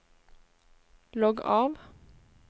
logg av